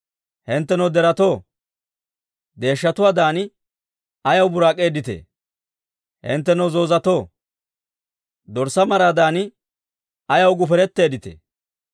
Hinttenoo deretoo, deeshshatuwaadan ayaw buraak'eedditee? Hinttenoo zoozatoo, dorssaa maraadan, ayaw guferetteeditee?